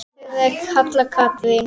Dóttir þeirra er Halla Katrín.